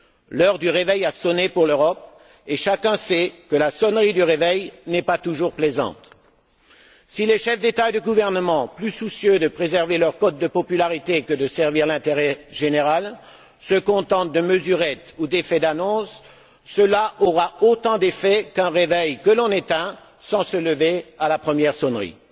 L'heure du réveil a sonné pour l'Europe et chacun sait que la sonnerie du réveil n'est pas toujours plaisante. Si les chefs d'État et de gouvernement, plus soucieux de préserver leur cote de popularité que de servir l'intérêt général, se contentent de mesurettes ou d'effets d'annonce, cela aura autant d'effet qu'un réveil que l'on éteint sans se lever, à la première sonnerie.